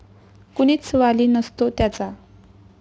कुणीच वाली नसतो त्याचा.